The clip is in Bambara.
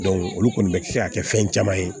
olu kɔni bɛ se ka kɛ fɛn caman ye